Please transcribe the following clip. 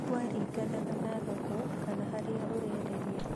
Kwaringanaga na thoko kana harĩa ũrenderia